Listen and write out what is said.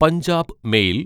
Punjab mail